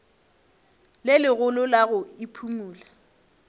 le legolo la go iphumola